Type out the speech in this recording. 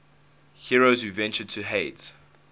heroes who ventured to hades